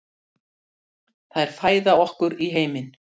Þær fæða okkur í heiminn.